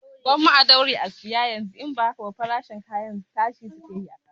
Gwamma a daure a saya yanzu, idan ba haka ba farashin kaya tashi suke yi a kasuwa